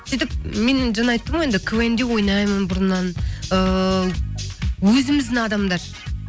сөйтіп мен жаңа айттым ғой енді квн де ойнаймын бұрыннан ыыы өзіміздің адамдар